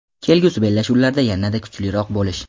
kelgusi bellashuvlarda yanada kuchliroq bo‘lish.